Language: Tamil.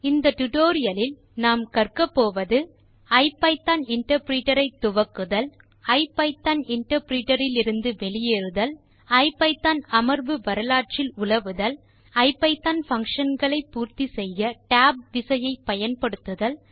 இந்த டியூட்டோரியல் இல் கற்பது ஐபிதான் இன்டர்பிரிட்டர் ஐ துவக்குதல் ஐபிதான் இன்டர்பிரிட்டர் லிருந்து வெளியேறுதல் ஐபிதான் அமர்வு வரலாற்றில் உலவுதல் ஐபிதான் பங்ஷன் களை பூர்த்தி செய்ய டேப் விசையை பயன்படுத்துதல்